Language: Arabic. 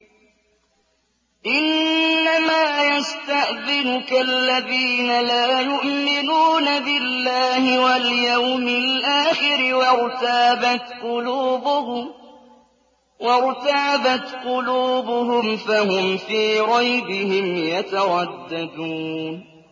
إِنَّمَا يَسْتَأْذِنُكَ الَّذِينَ لَا يُؤْمِنُونَ بِاللَّهِ وَالْيَوْمِ الْآخِرِ وَارْتَابَتْ قُلُوبُهُمْ فَهُمْ فِي رَيْبِهِمْ يَتَرَدَّدُونَ